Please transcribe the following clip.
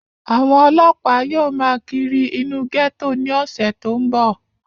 àwọn ọlọ́ọ̀pá yóò máa kírí inú gẹ́tò ní ọ̀sẹ̀ tó ń bọ̀